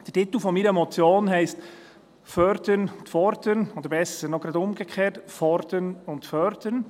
Der Titel meiner Motion heisst «fördern und fordern», oder besser noch, gerade umgekehrt: «fordern und fördern».